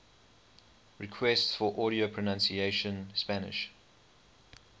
requests for audio pronunciation spanish